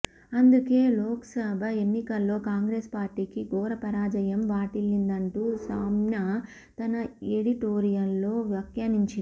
అందుకే లోక్సభ ఎన్నికల్లో కాంగ్రెస్ పార్టీకి ఘోర పరాజయం వాటిల్లిందంటూ సామ్నా తన ఎడిటోరియల్లో వ్యాఖ్యానించింది